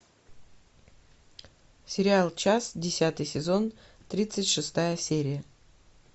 сериал час десятый сезон тридцать шестая серия